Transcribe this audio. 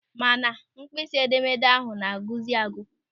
Mana mkpịsị edemede ahụ na-agwụzị agwụ.